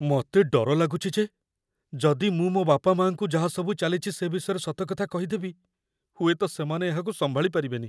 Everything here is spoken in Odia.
ମତେ ଡର ଲାଗୁଚି ଯେ ଯଦି ମୁଁ ମୋ ବାପାମାଆଙ୍କୁ ଯାହାସବୁ ଚାଲିଚି ସେ ବିଷୟରେ ସତ କଥା କହିଦେବି, ହୁଏତ ସେମାନେ ଏହାକୁ ସମ୍ଭାଳି ପାରିବେନି ।